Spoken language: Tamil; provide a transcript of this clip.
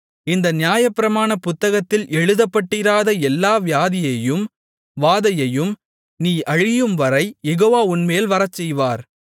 இந்த நியாயப்பிரமாண புத்தகத்தில் எழுதப்பட்டிராத எல்லா வியாதியையும் வாதையையும் நீ அழியும்வரை யெகோவா உன்மேல் வரச்செய்வார்